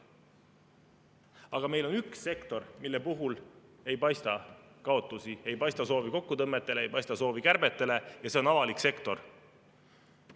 Aga meil on üks sektor, mille puhul ei paista kaotusi, ei paista kokkutõmbamise soovi, ei paista kärbete soovi – see on avalik sektor.